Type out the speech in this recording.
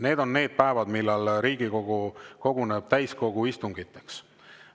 Need on need päevad, kui Riigikogu koguneb täiskogu istungiteks.